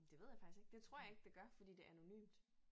Det ved jeg faktisk ikke det tror jeg ikke det gør fordi det anonymt